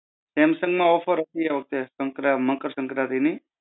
samsung માં offer હતી સંકરા~ મકર સંક્રાંતિની.